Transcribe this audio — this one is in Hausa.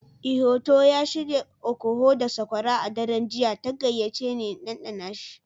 Ihotu ya shirya okoho da sokora a daren jiya ta gayyace ni in ɗanɗana shi.